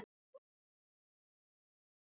Sveinlaug, ferð þú með okkur á mánudaginn?